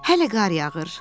Hələ qar yağır.